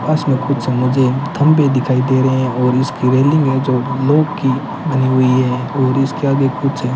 पास में कुछ मुझे खंभे दिखाई दे रहे हैं और इसकी रेलिंग हैं जो लॉक की बनी हुई है और इसके आगे कुछ --